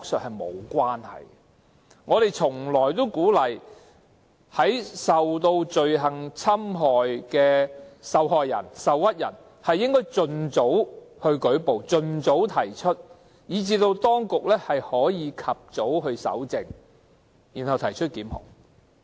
我們一直鼓勵罪行受害人、受屈人盡早舉報，讓當局得以及早搜證，提出檢控。